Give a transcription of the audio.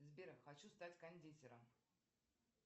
сбер хочу стать кондитером